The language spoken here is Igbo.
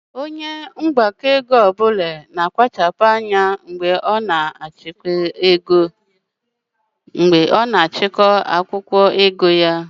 Onye mgbakọego ọbụla na kpachapu anya mgbe ọ na achiko akwụkwọ ego ya